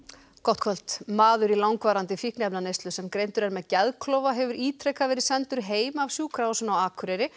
gott kvöld maður í langvarandi fíkniefnaneyslu sem greindur er með geðklofa hefur ítrekað verið sendur heim af Sjúkrahúsinu á Akureyri